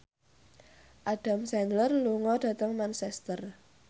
Adam Sandler lunga dhateng Manchester